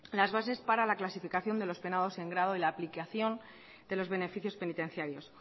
las bases para la clasificación de los penados en grado y la aplicación de los beneficios penitenciarios